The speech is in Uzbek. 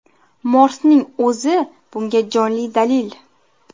Morsning o‘zi bunga jonli dalil.